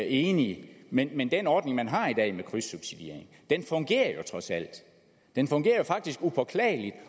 enig men men den ordning man har i dag med krydssubsidiering fungerer jo trods alt den fungerer faktisk upåklageligt